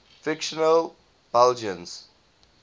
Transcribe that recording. fictional belgians